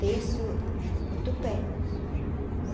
Teço o tupé.